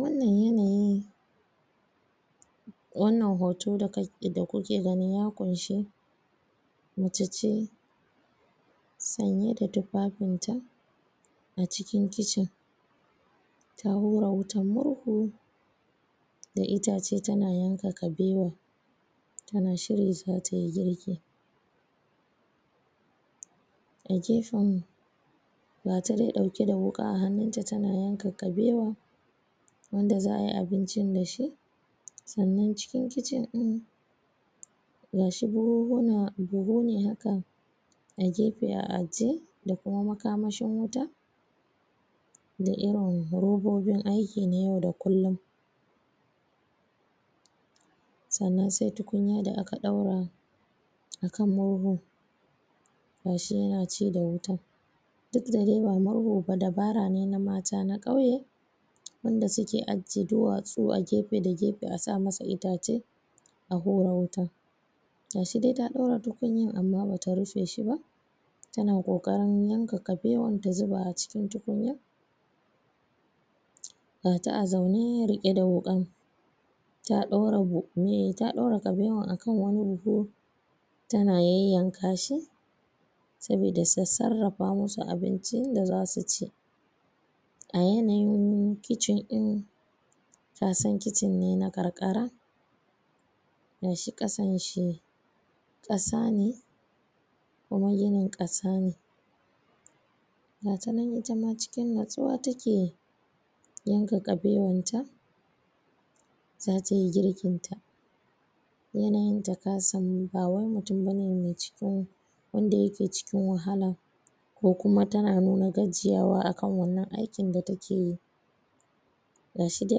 wannan yanayin wannan hoton da kuke gani ya kunshe mace ce sanye da tufafin ta a cikin kitchen ta hura wutan murhu da itace tana yanka kabewa tana shirya zatayi girki a gefen ga ta dai dauke da wuka a hannun ta tana yanka kabewa wanda za'ayi abincin da shi sannan cikin kitchen din gashi buhuhuna buhu ne haka a gefe a ajiye da kuma makamashin wuta da irin robobin aiki na yau da kullun sannan sai tukunya da aka daura a kan murhu gashi yana ci da wuta duk dabara ne na mata na kauye wanda suke ajiye duwatsu a gefe da gefe a sa masa itace a hura wutan gashi dai ta daura tukunyan amma bata rufe shi ba tana kokarin yanka kabewan ta zuba shi a cikin ruwan gata a zaune rike da wukan ta daura kabewan a kan wani buhu tana yanyanka shi sabida ta sarafa musu abincin da zasu ci a yanayin kitchen din ka san kitchen ne na ƙarƙara gashi kasan shi kasa ne kuma ginin kasa ne gata nan ita ma cikin natsuwa take yanka kabewan ta zatayi girkin ta yanayin ta kasan ba wai mutum bane mai cikin wanda yake cikin wahala ko kuma tana nuna gajiyawa a kan wannnan aikin da take yi gashi dai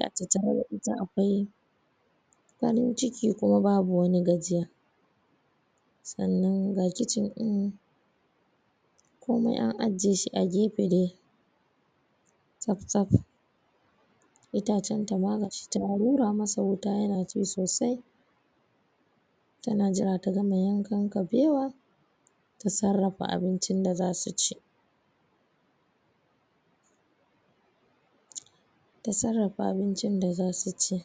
a tattare da ita akawai farin ciki kuma babu wani gajiya sannan ga kitchen din komai an ajiye shi a gefe dai tsaftsaf itacen ta ma gashi ta wura masa wuta yana ci sosai tana jira ta gama yankan kabewa ta sarrafa abincin da zasu ci ta sarrafa abincin da zasu ci